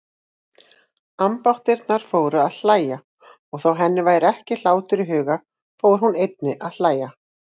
Ambáttirnar fóru að hlæja og þó henni væri ekki hlátur í hug fór hún einnig að hlæja.